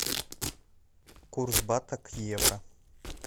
курс бата к евро